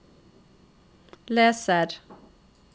leser